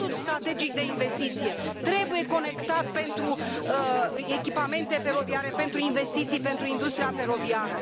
Fondul strategic de investiții trebuie conectat pentru echipamente feroviare, pentru investiții, pentru industria feroviară.